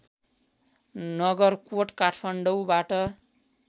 नगरकोट काठमाडौँबाट